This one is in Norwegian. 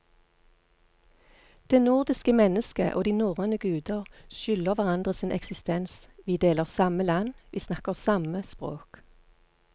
Det nordiske mennesket og de norrøne guder skylder hverandre sin eksistens, vi deler samme land, vi snakker samme språk.